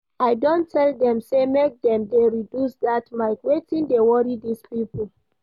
I don tell dem say make dem dey reduce that mic, wetin dey worry dis people?